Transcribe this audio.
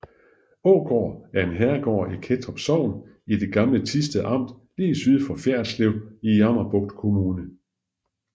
Ågård er en herregård i Kettrup Sogn i det gamle Thisted Amt lige syd for Fjerritslev i Jammerbugt Kommune